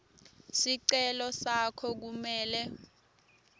sicelo sakho kumele